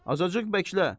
Azacıq bəklə.